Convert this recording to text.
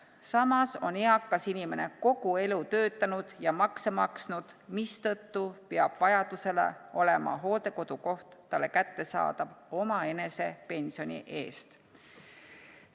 Samas on eakas inimene kogu elu töötanud ja makse maksnud, mistõttu peab vajaduse korral olema hooldekodukoht talle kättesaadav omaenese pensioni eest.